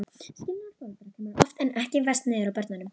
Skilnaður foreldra kemur oftar en ekki verst niður á börnunum.